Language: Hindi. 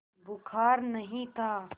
बुखार नहीं था